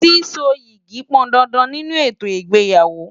Síso yìgì pọn dandan nínú ètò ìgbéyàwó.